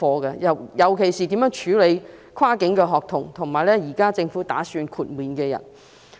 尤其要注意的，是如何處理跨境學童和現在政府打算讓其豁免檢疫的人士。